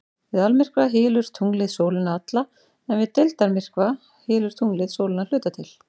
Við almyrkva hylur tunglið sólina alla en við deildarmyrkva hylur tunglið sólina að hluta til.